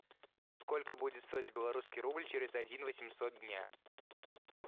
сколько будет стоить белорусский рубль через один восемьсот дня